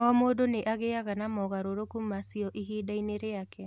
O mũndũ nĩ agĩaga na mogarũrũku macio ihinda-inĩ rĩake.